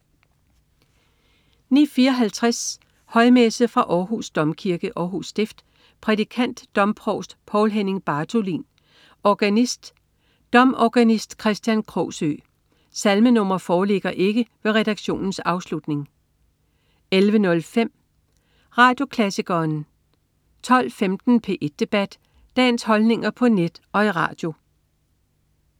09.54 Højmesse. Fra Århus Domkirke, Århus Stift. Prædikant: domprovst Poul Henning Bartholin. Organist: domorganist Kristian Krogsøe. Salmenr. foreligger ikke ved redaktionens afslutning 11.05 Radioklassikeren 12.15 P1 Debat. Dagens holdninger på net og i radio